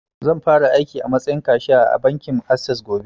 Zan fara aiki a matsayin kashu ya a bankin assess gobe